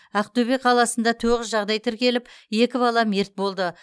ақтөбе қаласында тоғыз жағдай тіркеліп екі бала мерт болды